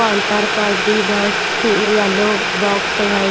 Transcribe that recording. Counter पर भी बहुत स पिल येलो बॉक्स है।